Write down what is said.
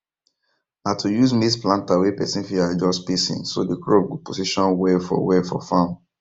na to use maize planter wey person fit adjust spacing so the crops go position well for well for farm